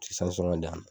di yan nɔ